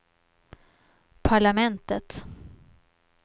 parlamentet